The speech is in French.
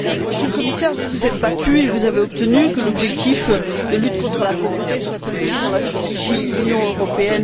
Monsieur le Commissaire, vous vous êtes battu et vous avez obtenu que l'objectif de lutte contre la pauvreté soit inscrit dans la stratégie Europe